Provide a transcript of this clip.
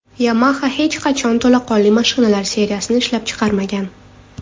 Yamaha hech qachon to‘laqonli mashinalar seriyasini ishlab chiqarmagan.